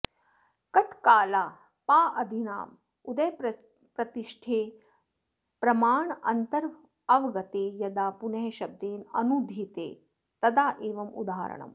कठकालापाऽदीनाम् उदयप्रतिष्ठे प्रमाणान्तरवगते यदा पुनः शब्देन अनूद्येते तदा एवम् उदाहरणम्